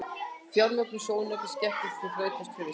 Fjármögnun sjónaukans gekk ekki þrautalaust fyrir sig.